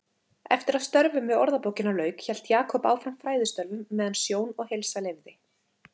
Eftir að störfum við Orðabókina lauk hélt Jakob áfram fræðistörfum meðan sjón og heilsa leyfði.